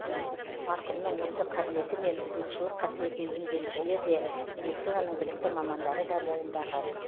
марқұмның осы қаблеті мен сынықшылық қасиетін емделушілер де медицинаның білікті мамандары да мойындаған